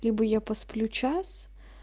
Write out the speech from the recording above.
либо я посплю час